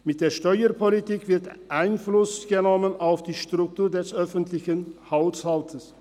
Mit der Steuerpolitik wird Einfluss genommen auf die Struktur des öffentlichen Haushaltes.